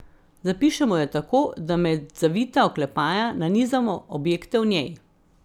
Zapišemo jo tako, da med zavita oklepaja nanizamo objekte v njej.